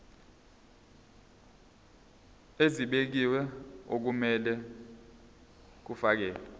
ezibekiwe okumele kufakelwe